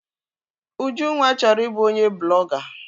Ujunwa chọrọ i bụ onye blọga